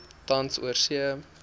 tans oorsee